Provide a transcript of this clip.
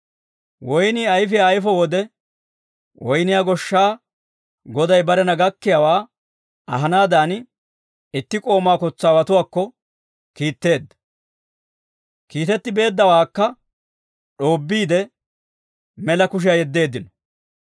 Woynnii ayfiyaa ayfo wode, woyniyaa goshshaa Goday barena gakkiyaawaa ahanaadan itti k'oomaa kotsaawatuwaakko kiitteedda. Kiitetti beeddawaakka d'oobbiide, mela kushiyaa yeddeeddino.